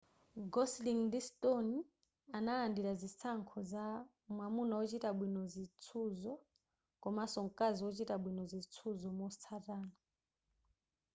gosling ndi stone analandira zinsankho za mwamuna wochita bwino zitsuzo komanso mkazi ochita bwino zitsuzo motsatana